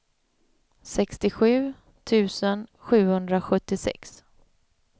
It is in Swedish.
sextiosju tusen sjuhundrasjuttiosex